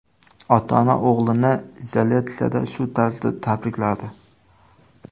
Ota-ona o‘g‘lini izolyatsiyada shu tarzda tabrikladi.